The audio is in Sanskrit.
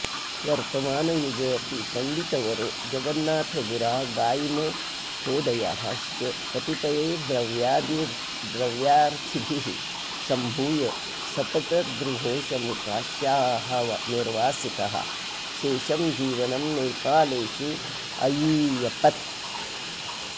वर्तमानयुगेऽपि पण्डितवरों जगन्नाथगुरागाइमहोदयश्च कतिपयैर्द्रव्यार्थिभिः सम्भूय सपटदृघोषं काश्याः निर्वासितः शेषं जौवनं नेपालेषु अयीयपत्